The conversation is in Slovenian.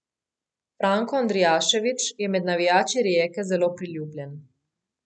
Franko Andrijašević je med navijači Rijeke zelo priljubljen.